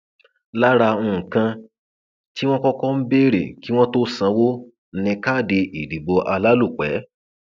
lára nǹkan tí wọn kọkọ ń béèrè kí wọn tóó sanwó ni káàdì ìdìbò alálòpẹ